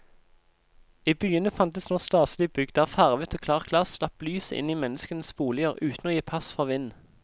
I byene fantes nå staselige bygg der farvet og klart glass slapp lyset inn i menneskenes boliger uten å gi pass for vind.